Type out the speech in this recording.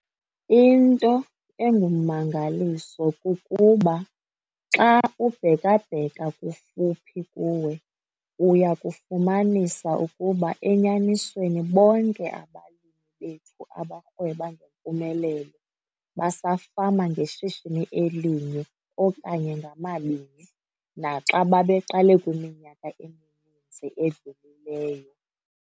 Into engummangaliso kukuba, xa ubheka-bheka kufuphi kuwe - uya kufumanisa ukuba enyanisweni bonke abalimi bethu abarhweba ngempumelelo basafama ngeshishini elinye okanye ngamabini naxa babeqale kwiminyaka emininzi edlulileyo.